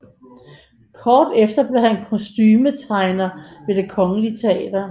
Kort efter blev han kostumetegner ved Det Kongelige Teater